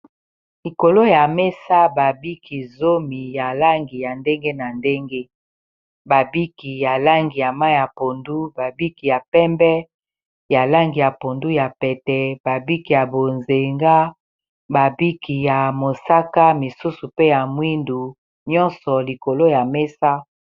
Likolo ya mesa ba biki zomi ya langi ya ndenge na ndenge ba biki ya langi ya ma ya pondu, ba biki ya pembe, ya langi ya pondu ya pete, ba biki ya bozenga, ba biki ya mosaka misusu pe ya mwindu nyonso likolo ya mesa.